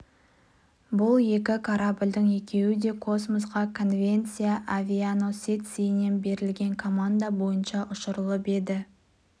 бұл екі корабльдің екеуі де космосқа конвенция авианосецінен берілген команда бойынша ұшырылып еді